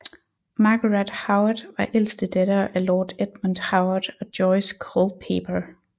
Margaret Howard var ældste datter af Lord Edmund Howard og Joyce Culpeper